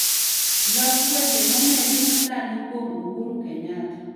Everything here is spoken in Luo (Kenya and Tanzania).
Log weche momedi masani kuom uhuru kenyatta